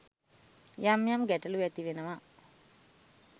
යම් යම් ගැටලු ඇති වෙනවා.